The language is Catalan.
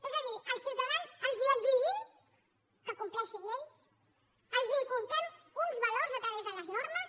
és a dir als ciutadans els exigim que compleixin lleis els inculquem uns valors a través de les normes